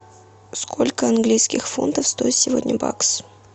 сколько английских фунтов стоит сегодня бакс